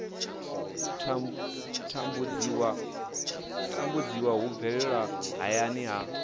tambudziwa hu bvelela hayani ha